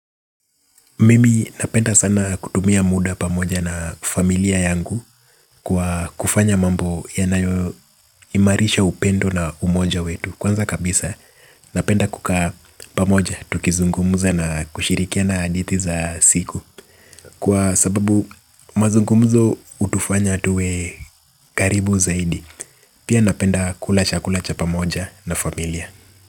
Mimi napenda sana kutumia muda pamoja na familia yangu kwa kufanya mambo yanayoimarisha upendo na umoja wetu. Kwanza kabisa napenda kukaa pamoja tukizungumuza na kushirikiana hadithi za siku. Kwa sababu mazungumzo hutufanya tuwe karibu zaidi. Pia napenda kula chakula cha pamoja na familia.